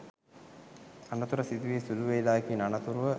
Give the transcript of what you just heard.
අනතුර සිදුවී සුළු වෙලාවකින් අනතුරුව